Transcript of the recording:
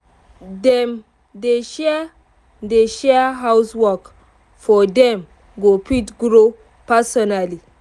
dem dey share dey share house work so dem go fit grow personally